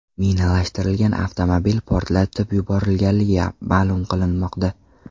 Minalashtirilgan avtomobil portlatib yuborilganligi ma’lum qilinmoqda.